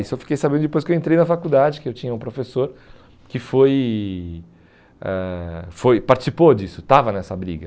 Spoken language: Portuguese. Isso eu fiquei sabendo depois que eu entrei na faculdade, que eu tinha um professor que foi ãh foi participou disso, estava nessa briga.